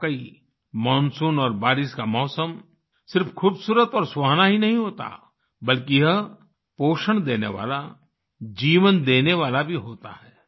वाकई मानसून और बारिश का मौसम सिर्फ खूबसूरत और सुहाना ही नहीं होता बल्कि यह पोषण देने वाला जीवन देने वाला भी होता है